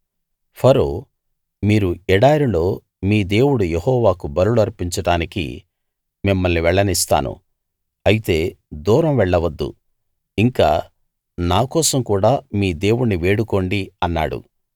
ఫరో మీరు ఎడారిలో మీ దేవుడు యెహోవాకు బలులు అర్పించడానికి మిమ్మల్ని వెళ్ళనిస్తాను అయితే దూరం వెళ్ళవద్దు ఇంకా నా కోసం కూడా మీ దేవుణ్ణి వేడుకోండి అన్నాడు